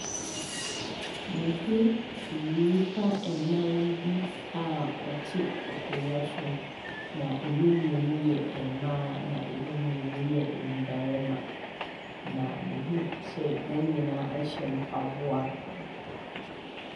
Meho nnipa anan bi aa wɔte akonnwa so na emu mmienu yɛ mmaa na emu mmienu yɛ mbarima na meho sɛɛ wɔn nyinaa ɛshɛ mpaboa.